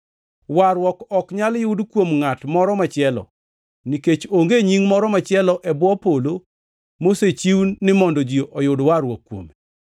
Warruok ok nyal yud kuom ngʼat moro machielo; nikech onge nying moro machielo e bwo polo mosechiw ni mondo ji oyud warruok kuome.”